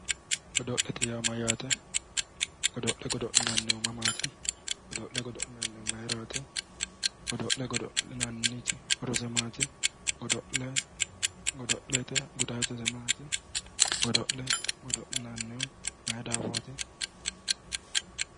godo'lete yaa mayyaate? godo'le godo'linannihu mamaati? godo'le godo'linannihu mayiraati godo'lenniti horose maati? godo'lete gudaatise maati? godo'le godo'linannihu mayi daafooti?